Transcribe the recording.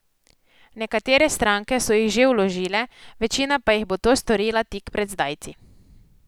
Nekatere stranke so jih že vložile, večina pa jih bo to storila tik pred zdajci.